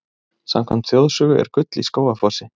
Samkvæmt þjóðsögu er gull í Skógafossi.